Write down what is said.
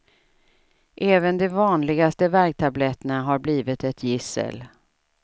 Även de vanligaste värktabletterna har blivit ett gissel.